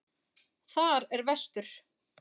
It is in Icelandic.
Þar er vestur.